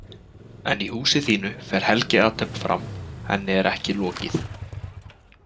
En í húsi þínu fer helgiathöfn fram Henni er ekki lokið.